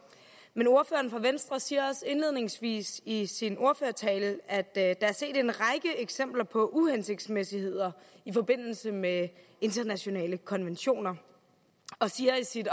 men ordføreren for venstre siger også indledningsvis i sin ordførertale at der er set en række eksempler på uhensigtsmæssigheder i forbindelse med internationale konventioner og siger i sit